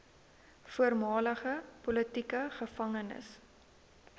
voormalige politieke gevangenes